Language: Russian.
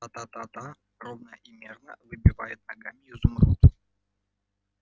та-та-та-та ровно и мерно выбивает ногами изумруд